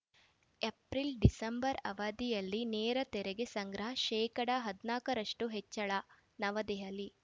April December ಅವಧಿಯಲ್ಲಿ ನೇರ ತೆರಿಗೆ ಸಂಗ್ರಹ ಶೇಕಡಾ ಹದ್ನಾಕ ರಷ್ಟುಹೆಚ್ಚಳ ನವದೆಹಲಿ